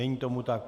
Není tomu tak.